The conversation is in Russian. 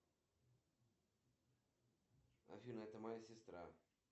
джой поставь будильник на завтра на семь семь пятнадцать